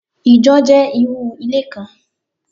Ìjọ jẹ́ irú ilé kan